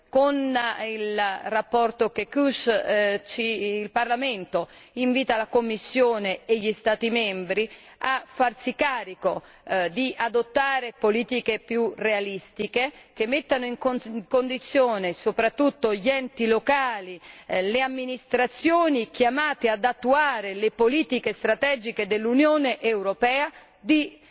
Con la relazione Kekuš, il Parlamento invita la Commissione e gli Stati membri a farsi carico di adottare politiche più realistiche, che mettano in condizione soprattutto gli enti locali e le amministrazioni chiamate ad attuare le politiche strategiche dell'Unione europea di